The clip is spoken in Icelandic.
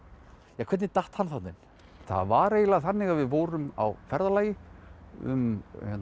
hvernig datt hann þarna inn það var eiginlega þannig að við vorum á ferðalagi um